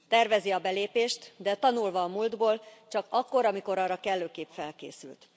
Tervezi a belépést, de tanulva a múltból, csak akkor, amikor arra kellőképp felkészült.